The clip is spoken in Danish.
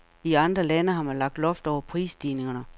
I andre lande har man lagt loft over prisstigningerne.